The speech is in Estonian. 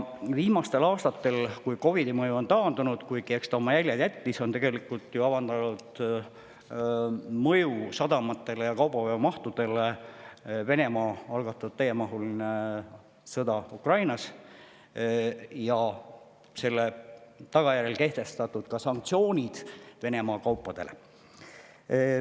Viimastel aastatel, kui COVID‑i mõju on taandunud, kuigi eks ta oma jäljed jättis, on sadamatele ja kaubaveomahtudele mõju avaldanud Venemaa algatatud täiemahuline sõda Ukrainas ja selle tagajärjel kehtestatud sanktsioonid Venemaa kaupadele.